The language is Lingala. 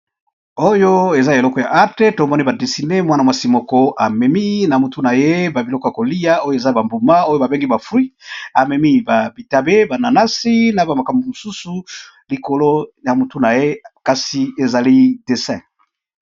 Elili kitoko moto a dessiner mwasi azo mema ba mbuma na mutu akangi kitambala. Elili yango eza na langi ya motane pe mosaka, pembe na bozinga. Kitoko penza.